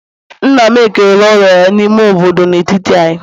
nna m ekela ụlọ ya n'ime obodo n'etiti anyị